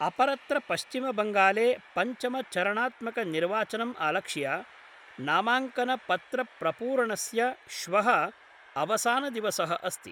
अपरत्र पश्चिम बंगाले पंचमचरणात्मक निर्वाचनम् आलक्ष्य नामांकन पत्रप्रपूरणस्य श्वः अवसानदिवसः अस्ति।